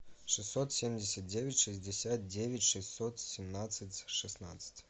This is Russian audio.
шестьсот семьдесят девять шестьдесят девять шестьсот семнадцать шестнадцать